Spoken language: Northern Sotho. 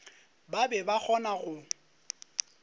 ba be ba kgona go